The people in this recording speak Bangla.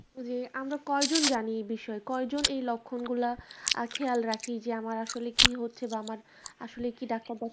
আসলে আমরা কয়জন জানি এই বিষয়ে কয়জন এই লক্ষণ গুলা আ খেয়াল রাখি যে আসলে আমার কি হচ্ছে বা আমার আসলে কি ডাক্তার দেখা